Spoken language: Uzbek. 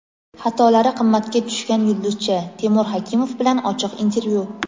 Xatolari qimmatga tushgan yulduzcha – Temur Hakimov bilan ochiq intervyu.